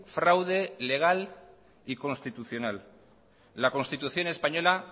fraude legal y constitucional la constitución española